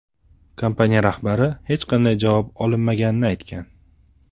Kompaniya rahbari hech qanday javob olinmaganini aytgan.